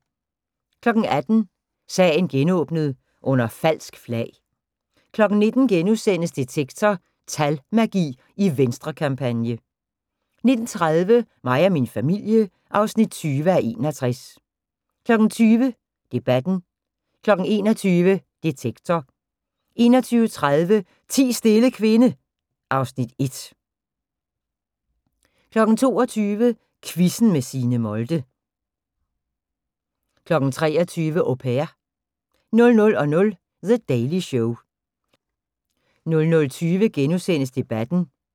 18:00: Sagen genåbnet: Under falsk flag 19:00: Detektor: Talmagi i Venstrekampagne * 19:30: Mig og min familie (20:61) 20:00: Debatten 21:00: Detektor 21:30: Ti stille kvinde (Afs. 1) 22:00: Quizzen med Signe Molde 23:00: Au Pair 00:00: The Daily Show 00:20: Debatten *